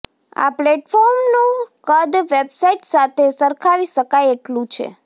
આ પ્લેટફોર્મનું કદ વેબસાઇટ સાથે સરખાવી શકાય એટલું છે